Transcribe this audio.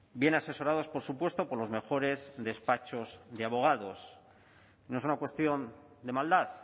bien asesorados por supuesto por los mejores despachos de abogados no es una cuestión de maldad